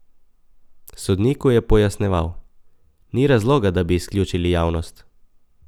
Sodniku je pojasnjeval: "Ni razloga, da bi izključili javnost.